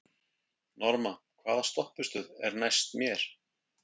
Norma, hvaða stoppistöð er næst mér?